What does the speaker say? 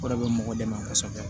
O de bɛ mɔgɔ dɛmɛ kosɛbɛ